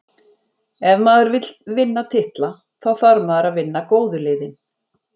Ef maður vill vinna titla, þá þarf maður að vinna góðu liðin.